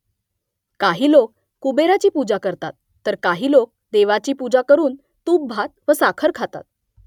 काही लोक कुबेराची पूजा करतात तर काही लोक देवीची पूजा करून तूपभात व साखर खातात